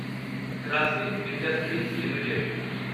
Grasim Industries limited